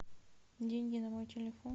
деньги на мой телефон